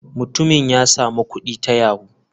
Mutumin ya samu kudi ta yahoo.